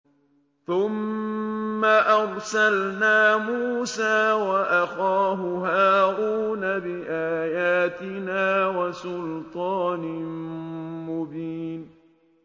ثُمَّ أَرْسَلْنَا مُوسَىٰ وَأَخَاهُ هَارُونَ بِآيَاتِنَا وَسُلْطَانٍ مُّبِينٍ